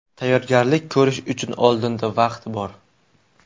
Tayyorgarlik ko‘rish uchun oldinda vaqt bor.